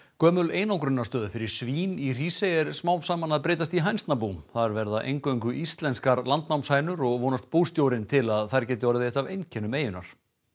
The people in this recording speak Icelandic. gömul einangrunarstöð fyrir svín í Hrísey er smám saman að breytast í hænsnabú þar verða eingöngu íslenskar landsnámshænur og vonast bústjórinn til þess að þær geti orðið eitt af einkennum eyjunnar